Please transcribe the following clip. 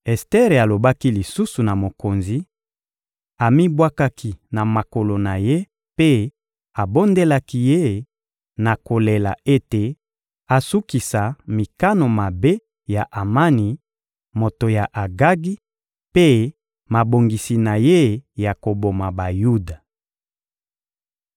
Ester alobaki lisusu na mokonzi; amibwakaki na makolo na ye mpe abondelaki ye na kolela ete asukisa mikano mabe ya Amani, moto ya Agagi, mpe mabongisi na ye ya koboma Bayuda.